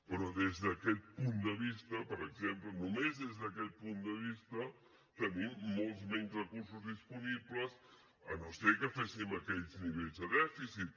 però des d’aquest punt de vista per exemple només des d’aquest punt de vista tenim molts menys recursos disponibles si no és que féssim aquells nivells de dèficit